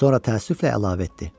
Sonra təəssüflə əlavə etdi: